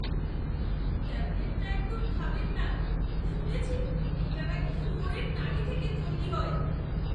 ট্যাবলেটটা একদম খাবেন না। শুনেছি এটা নাকি শুয়োরের নাড়ি থেকে তৈরি হয়।